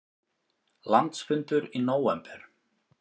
Landsfundur í nóvember